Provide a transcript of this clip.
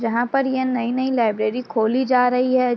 जहाँ पर ये नई-नई लाइब्रेरी खोली जा रही है।